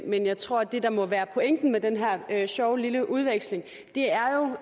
men jeg tror at det der må være pointen med den her sjove lille udveksling